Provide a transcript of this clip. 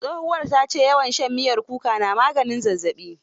Tsohuwar ta ce, yawan shan miyar kuka na maganin zazzaɓi.